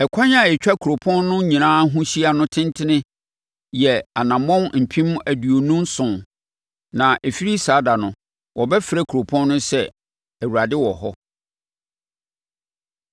“Ɛkwan a ɛtwa kuropɔn no nyinaa ho hyia no tentene yɛ anammɔn mpem aduonu nson (27,000). “Na ɛfiri saa ɛda no, wɔbɛfrɛ kuropɔn no sɛ, ‘ Awurade Wɔ Hɔ.’ ”